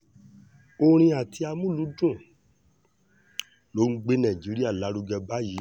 orin àti amúlùúdùn ló ń gbé nàìjíríà lárugẹ báyìí